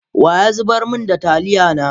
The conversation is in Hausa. Wa ya zubar min da taliya na?